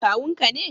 Kawun ka ne?